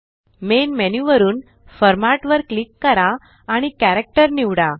main menu वरुन format वर click करा आणि कॅरेक्टर निवडा